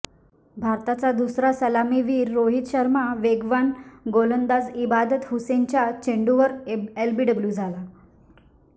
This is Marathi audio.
भारताचा दुसरा सलामीवीर रोहित शर्मा वेगवान गोलांदाज इबादत हुसेनच्या चेंडूवर एलबीडब्ल्यू झाला